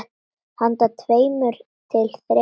Handa tveimur til þremur